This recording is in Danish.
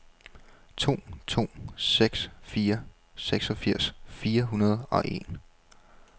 to to seks fire seksogfirs fire hundrede og en